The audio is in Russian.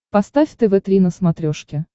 поставь тв три на смотрешке